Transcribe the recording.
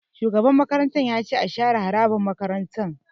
Shugaban makarantar ya ce 'Share harabar makarantar'!